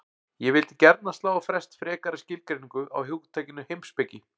Ég vildi gjarnan slá á frest frekari skilgreiningu á hugtakinu heimspeki.